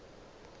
pelo ya ka e a